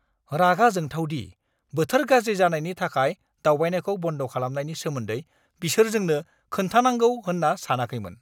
रागा जोंथाव दि बोथोर गाज्रि जानायनि थाखाय दावबायनायखौ बन्द खालामनायनि सोमोन्दै बिसोर जोंनो खोन्थानांगौ होनना सानाखैमोन!